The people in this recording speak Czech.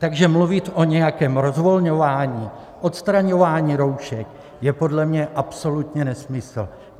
Takže mluvit o nějakém rozvolňování, odstraňování roušek je podle mě absolutně nesmysl.